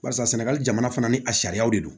Barisa sɛnɛgali jamana fana ni a sariyaw de don